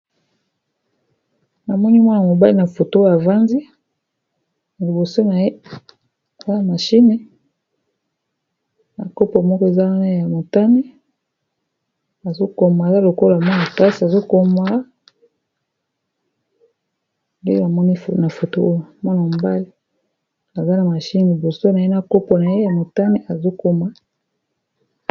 Namoni mwana mobali na foto oyo avandzi na liboso naye eza na mashine na kopo moko eza wana ya motane azokoma aza lokola mwana klasi azokoma nde namoni na foto oyo mwana mobali aza na mashine liboso na ye na kopo na ye ya motane azokoma.